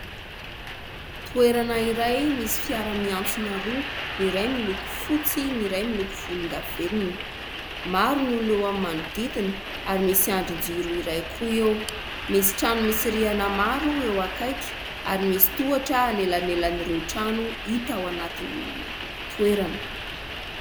Toerana iray misy fiara miantsona roa : ny iray miloko fotsy, ny iray miloko volondavenona. Maro ny olona eo amin'ny manodidina ary misy andrin-jiro iray koa eo. Misy trano misy rihana maro eo akaiky ; ary misy tohatra anelanelan'ireo trano hita ao anatin'ny toerana.